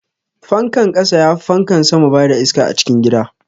Fankan ƙasa yafi fankan sama bada iska a cikin gida.